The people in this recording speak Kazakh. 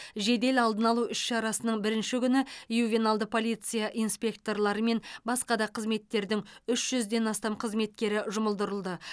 жедел алдын алу іс шарасының бірінші күні ювеналды полиция инспекторлары мен басқа да қызметтердің үш жүзден астам қызметкері жұмылдырылды